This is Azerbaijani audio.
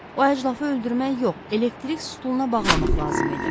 O əclafı öldürmək yox, elektrik stuluna bağlamaq lazım idi.